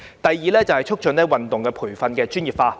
第二，促進運動員培訓專業化。